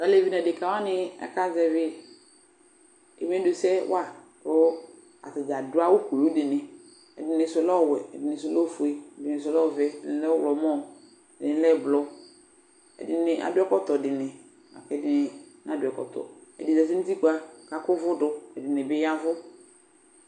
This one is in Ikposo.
Alevi nʋ adekǝ wani aka zɛvɩ ɛdɩ nʋ ɛdɩ sɛ wa, kʋ atadza adʋ aɣʋ kʋlʋ dɩnɩ Ɛdɩnɩ sʋ lɛ ɔwɛ, ɛdɩnɩ sʋ lɛ ofue, ɛdɩnɩ sʋ lɛ ɔvɛ, ɛdɩnɩ lɛ ɔɣlɔmɔ, ɛdɩnɩ lɛ ɛblɔ, ɛdɩnɩ adʋ ɛkɔtɔ dɩnɩ, ɛdɩnɩ nadʋ ɛkɔtɔ Ɛdɩnɩ zǝtɩ nʋ utikpǝ kʋ akʋ uvu dʋ Ɛdɩnɩ bɩ ya ɛvʋ